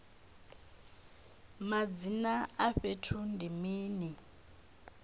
madzina a fhethu ndi mini